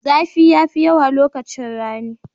Zafi yafi yawa lokaci rani.